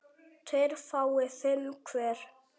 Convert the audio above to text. tveir fái fimm hver